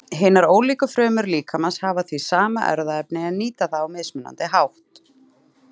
Hinar ólíku frumur líkamans hafa því sama erfðaefni en nýta það á mismunandi hátt.